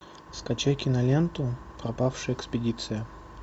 скачай киноленту пропавшая экспедиция